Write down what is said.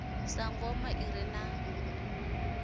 sa ngoma i re na